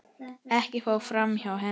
Ekkert fór framhjá henni.